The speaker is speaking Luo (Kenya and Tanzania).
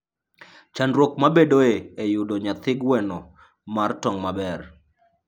Chandruok mabedoe e yudo nyathi gweno mar tong' maber.